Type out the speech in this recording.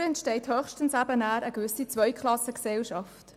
Dadurch entsteht höchstens eine gewisse Zweiklassengesellschaft.